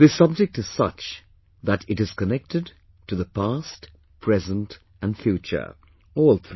This subject is such that it is connected to past, present and future; all three